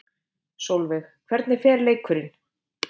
Sólveig: Hvernig fer leikurinn?